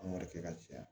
An b'o de kɛ ka caya